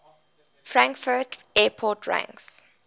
frankfurt airport ranks